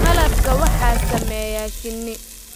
Malabka waxaa sameeya shinni